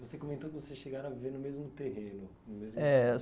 Você comentou que vocês chegaram a viver no mesmo terreno. É.